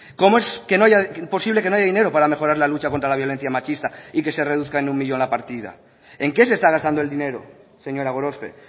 cómo es que no haya imposible que no haya dinero para mejorar la lucha contra la violencia machista y que se reduzcan en uno millón la partida en qué se está gastando el dinero señora gorospe